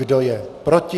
Kdo je proti?